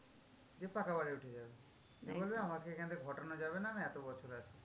দিয়ে পাকা বাড়ি উঠে যাবে। দিয়ে বলবে আমাকে এখান থেকে হটানো যাবে না আমি এতো বছর আছি।